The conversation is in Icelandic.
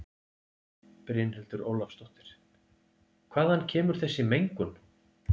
Brynhildur Ólafsdóttir: Hvaðan kemur þessi mengun?